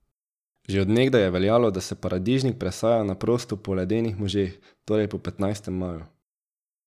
Že od nekdaj je veljalo, da se paradižnik presaja na prosto po ledenih možeh, torej po petnajstem maju.